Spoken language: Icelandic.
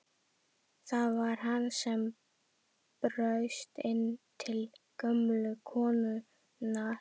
Það var hann sem braust inn til gömlu konunnar!